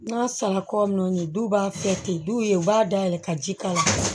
N'a sara kɔ nɔ ye du b'a kɛ ten du ye u b'a dayɛlɛn ka ji k'a la